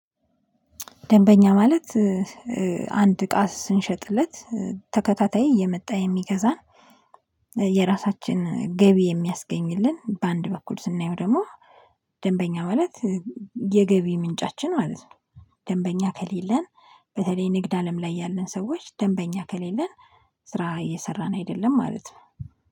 ደንበኛ ማለት አንድ እቃ ስንሸጥለት ተከታታይ እየመጣ የሚገዛን የራሳችን ገቢ የሚያስገኝልን በአንድ በኩል ስናየው ደግሞ ደንበኛ ማለት የገቢ ምንጫችን ማለት ነው። ደንበኛ ከሌለን በተለይ ንግድ አለም ላይ ያለን ሰዎች ደንበኛ ከሌለን ስራ እየሰራን አይደለም ማለት ነው